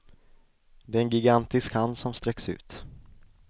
Det är en gigantisk hand som sträcks ut.